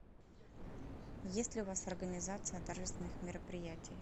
есть ли у вас организация торжественных мероприятий